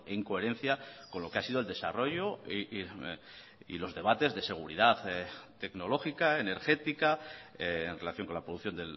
en coherencia con lo que ha sido el desarrollo y los debates de seguridad tecnológica energética en relación con la producción